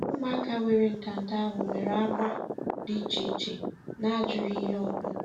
Ụmụaka were ntanta ahụ nwere agba dị iche iche na ajụghị ihe ọ bụ